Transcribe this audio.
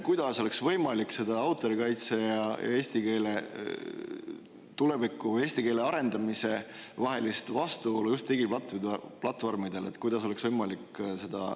Kuidas oleks võimalik seda autorikaitse ja eesti keele tuleviku, eesti keele arendamise vahelist vastuolu just digiplatvormidel lahendada?